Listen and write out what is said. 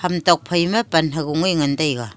ham tokphai ma pan ha go a ngan taiga.